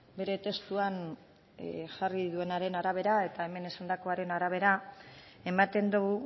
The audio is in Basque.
bere testuan jarri duenaren arabera eta hemen esandakoaren arabera ematen du